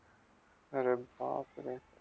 अरे बापरे!